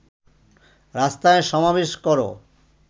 রাস্তায় সমাবেশ কর